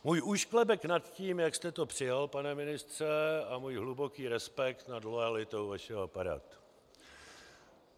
Můj úšklebek nad tím, jak jste to přijal, pane ministře, a můj hluboký respekt nad loajalitou vašeho aparátu.